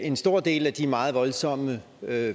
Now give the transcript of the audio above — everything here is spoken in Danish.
en stor del af de meget voldsomme